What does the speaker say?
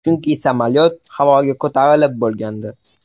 Chunki samolyot havoga ko‘tarilib bo‘lgandi.